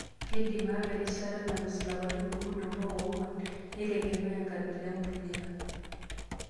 Keidim aawa erishata nalus lapaitin okuni ompaka oong'uan, neitegemea enkabila empulia.